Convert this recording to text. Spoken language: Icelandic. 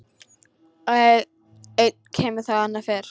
Einn kemur þá annar fer.